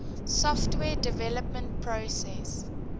software development process